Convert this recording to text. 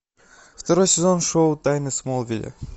второй сезон шоу тайны смолвиля